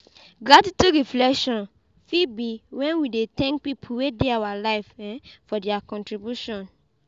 Gratitude reflection fit be when we dey thank pipo wey dey our live um for their contribution